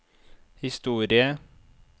historie